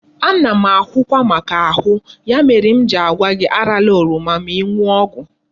Ana m ahụkwa maka ahu, ya mere m ji agwa gi arala oroma ma iñu ogwu